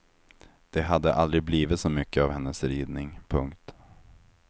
Det hade aldrig blivit så mycket av hennes ridning. punkt